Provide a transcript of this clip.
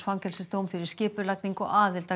fangelsisdóm fyrir skipulagningu og aðild